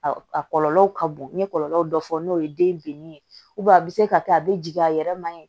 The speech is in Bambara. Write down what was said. A kɔlɔlɔw ka bon n ye kɔlɔlɔw dɔ fɔ n'o ye den binnin ye a bɛ se ka kɛ a bɛ jigin a yɛrɛ ma